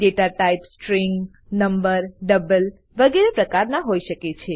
data type string number double વગેરે પ્રકારના હોય શકે છે